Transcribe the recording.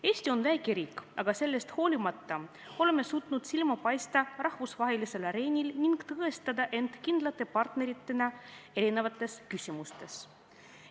Eesti on väike riik, aga sellest hoolimata oleme suutnud rahvusvahelisel areenil silma paista ning tõestada end kindlate parteritena erinevate küsimustega seoses.